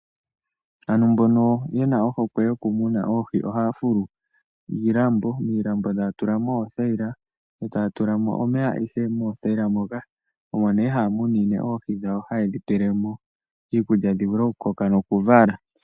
Aantu mbono yena ohokwe yokumuna oohi ohaya fulu iilambo. Iilambo taya tula mo oothayila etaya tulamo omeya ihe moothayila moka. Omo nee haya munine oohi dhawo haye dhipele mo iikulya dhivule okukoka nokuvala.